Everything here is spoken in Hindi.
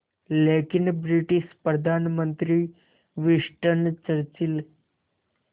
लेकिन ब्रिटिश प्रधानमंत्री विंस्टन चर्चिल